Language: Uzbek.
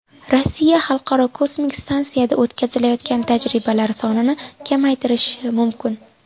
Rossiya Xalqaro kosmik stansiyada o‘tkazilayotgan tajribalari sonini kamaytirishi mumkin.